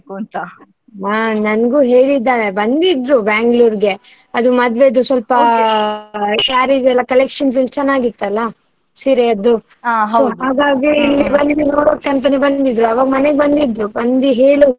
ಬಾ ನನ್ಗೂ ಹೇಳಿದಾಳೆ ಬಂದಿದ್ರು Bangalore ಗೆ ಅದು ಸ್ವಲ್ಪ sarees ಎಲ್ಲಾ collections ಚೆನ್ನಾಗಿತ್ತಲ್ಲ. ಸೀರೆಯದ್ದು ಬಂದು ನೋಡ್ಬೇಕ್ ಅಂತಾನೆ ಬಂದಿದ್ಳು ಅವಾಗ್ ಮನೆಗೆ ಬಂದಿದ್ರು. ಬಂದು ಹೇಳಿ.